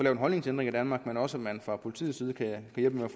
en holdningsændring i danmark men også at man fra politiets side kan hjælpe med